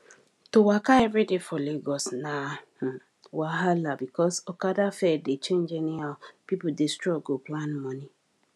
to waka every day for lagos na wahala because okada fare dey change anyhow people dey struggle plan money